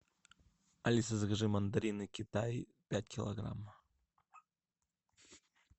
алиса закажи мандарины китай пять килограмм